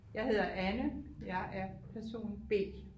Jeg hedder Anne jeg er person B